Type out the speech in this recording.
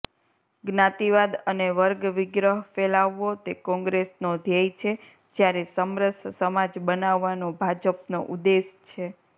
જ્ઞાતિવાદ અને વર્ગવિગ્રહ ફેલાવવો તે કોગ્રેસનો ધ્યેય છે જ્યારે સમરસ સમાજ બનાવવાનો ભાજપનો ઉદેશ છે